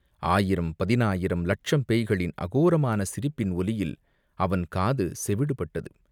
ஆயிரம், பதினாயிரம், லட்சம் பேய்களின் அகோரமான சிரிப்பின் ஒலியில் அவன் காது செவிடுபட்டது.